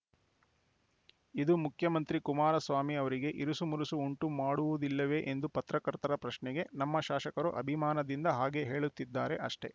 ಇದು ಮುಖ್ಯಮಂತ್ರಿ ಕುಮಾರಸ್ವಾಮಿ ಅವರಿಗೆ ಇರುಸು ಮುರುಸು ಉಂಟುಮಾಡುವುದಿಲ್ಲವೇ ಎಂಬ ಪತ್ರಕರ್ತರ ಪ್ರಶ್ನೆಗೆ ನಮ್ಮ ಶಾಸಕರು ಅಭಿಮಾನದಿಂದ ಹಾಗೆ ಹೇಳುತ್ತಿದ್ದಾರೆ ಅಷ್ಟೆ